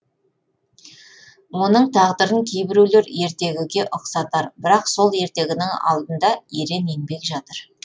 оның тағдырын кейбіреулер ертегіге ұқсатар бірақ сол ертегінің алдында ерен еңбек жатыр